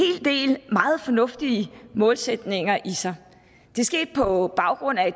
del meget fornuftige målsætninger i sig det skete på baggrund af